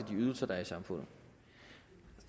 de ydelser der er i samfundet